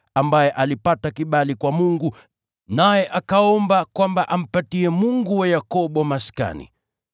ambaye alipata kibali kwa Mungu, naye akaomba kwamba ampatie Mungu wa Yakobo maskani.